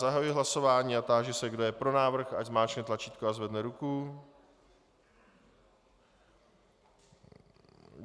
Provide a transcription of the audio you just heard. Zahajuji hlasování a táži se, kdo je pro návrh, ať zmáčkne tlačítko a zvedne ruku.